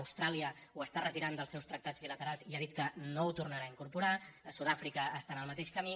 austràlia ho està retirant dels seus tractats bilaterals i ha dit que no ho tornarà a incorporar sud àfrica està en el mateix camí